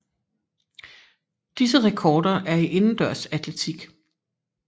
Disse rekorder er i indendørs atletik